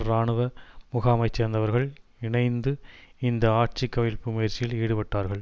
இராணுவ முகாமை சேர்ந்தவர்கள் இணைந்து இந்த ஆட்சி கவிழ்ப்பு முயற்சியில் ஈடுபட்டார்கள்